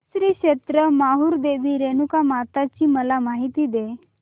श्री क्षेत्र माहूर देवी रेणुकामाता ची मला माहिती दे